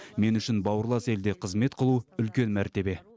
мен үшін бауырлас елде қызмет қылу үлкен мәртебе